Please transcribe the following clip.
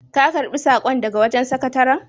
Ka karɓi saƙon daga wajen sakataran?